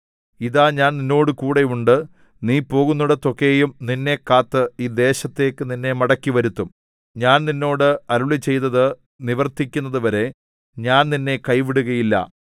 ഇതാ ഞാൻ നിന്നോടുകൂടെയുണ്ട് നീ പോകുന്നേടത്തൊക്കെയും നിന്നെ കാത്ത് ഈ ദേശത്തേക്ക് നിന്നെ മടക്കിവരുത്തും ഞാൻ നിന്നോട് അരുളിച്ചെയ്തത് നിവർത്തിക്കുന്നതുവരെ ഞാൻ നിന്നെ കൈവിടുകയില്ല